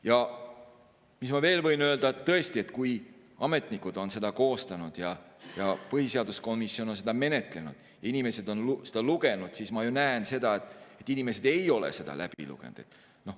Ja mis ma veel võin öelda: tõesti, kui ametnikud on selle koostanud ja põhiseaduskomisjon on seda menetlenud, inimesed on seda lugenud, siis ma näen seda, et inimesed ei ole seda läbi lugenud.